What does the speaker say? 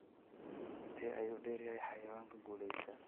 Intee ayuu dheer yahay xayawaanka guulaysta?